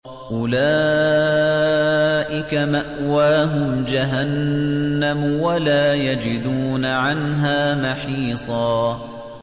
أُولَٰئِكَ مَأْوَاهُمْ جَهَنَّمُ وَلَا يَجِدُونَ عَنْهَا مَحِيصًا